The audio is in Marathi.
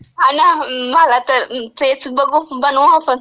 हां ना, आला मला तर. तेच, बघू, बनवू आपण.